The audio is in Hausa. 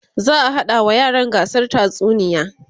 za'a haɗa wa yaran gasar tatsuniya